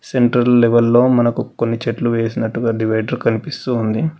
Central level లో మనకు కొన్ని చెట్లు వేసినట్టుగా డివైడర్ కనిపిస్తుంది.